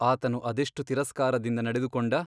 ಆತನು ಅದೆಷ್ಟು ತಿರಸ್ಕಾರದಿಂದ ನಡೆದುಕೊಂಡ !